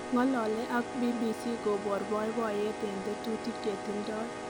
Ngolelei ak BBC kobor paipaiyet en tetutik che tindoi